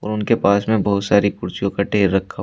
और उनके पास में बहुत सारी कुर्सियों का ढेर रखा--